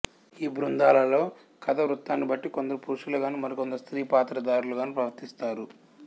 ఈ బృందలలో కథా వృతాన్ని బట్తి కొందరు పురుషులు గానూ మరి కొందరు స్స్త్రీ పాత్ర ధారులు గానూ ప్రవర్తిస్తారు